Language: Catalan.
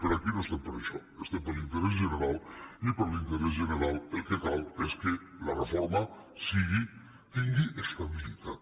però aquí no estem per a això estem per l’interès general i per l’interès general el que cal és que la reforma tingui estabilitat